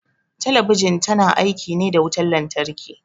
Talabijin ta na aiki ne da wutan lantarki